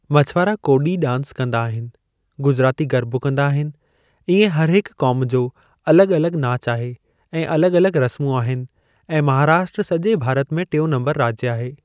मछवारा कोॾी डांस कंदा आहिनि गुजराती गरबो कंदा आहिनि इएं हरहिक क़ौम जो अलॻि-अलॻि नाच आहे ऐं अलॻि-अलॻि रस्मूं आहिनि ऐं महाराष्ट्रा सॼे भारत में टियों नम्बर राज्य आहे।